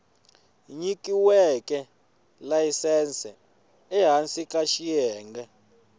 nyikiweke layisense ehansi ka xiyenge